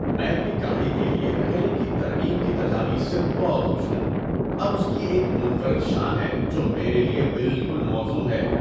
میں اپنی گاڑی کے لیے میکینک کی ترمیم کی تجاویز سے بہت خوش ہوں۔ اب اس کی ایک منفرد شان ہے جو میرے لیے بالکل موزوں ہے۔